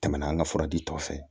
Tɛmɛna an ka fura di tɔ fɛ